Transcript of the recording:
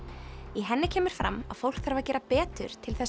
í henni kemur fram að fólk þarf að gera betur til